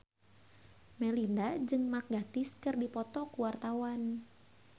Melinda jeung Mark Gatiss keur dipoto ku wartawan